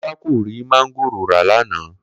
Kó̩lá kò rí máńgòrò ra lánàá